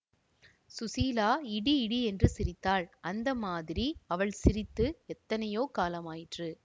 ஸுசீலா இடி இடியென்று சிரித்தாள் அந்த மாதிரி அவள் சிரித்து எத்தனையோ காலமாயிற்று